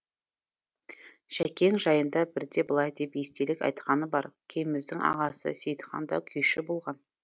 жәкең жайында бірде былай деп естелік айтқаны бар кеміздің ағасы сейітхан да күйші болған